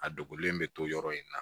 A dogolen bɛ to yɔrɔ in na